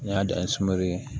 N y'a dan ye sunbe